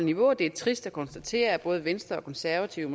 niveau og det er trist at konstatere at både venstre og konservative